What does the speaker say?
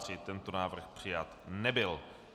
Tento návrh přijat nebyl.